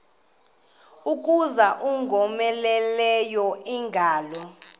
kuza ingowomeleleyo ingalo